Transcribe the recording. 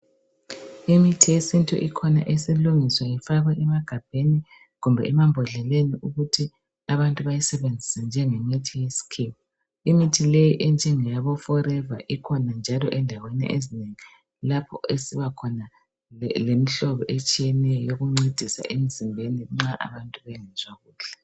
Imithi yesintu ikhona esilungiswa ifakwa emagabheni kumbe emambodleleni ukuthi abantu bayisebenzise njengemithi yesikhiwa. Imithi leyi enjengeyabo foreva ikhona njalo endaweni ezinengi lapho esiba khona lemihlobo etshiyeneyo yokuncedisa emzimbeni nxa abantu bengezwa kuhle.